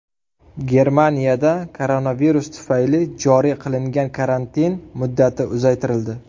Germaniyada koronavirus tufayli joriy qilingan karantin muddati uzaytirildi.